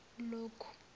lokhu